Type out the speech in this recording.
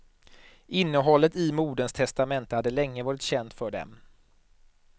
Innehållet i moderns testamente hade länge varit känt för dem.